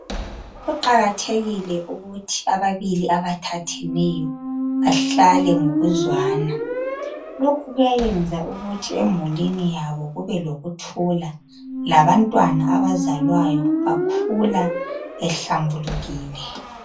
Kuqakathekile ukuthi ababili abathatheneyo bahlale ngokuzwana. Lokhu kuyayenza ukuthi emulini yabo kube lokuthula labantwana abazalwayo bakhula behlambulukile.